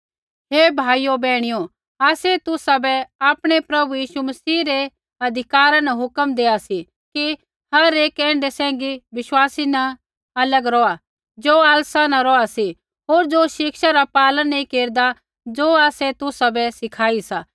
हे भाइयो बैहणियो आसै तुसाबै आपणै प्रभु यीशु मसीह रै अधिकारा न हुक्म देआ सी कि हर एक ऐण्ढै सैंघी विश्वासी न अलग रौहा ज़ो आलसा न रौहा सी होर ज़ो शिक्षा रा पालन नैंई केरदा ज़ो आसै तुसाबै सिखाई सा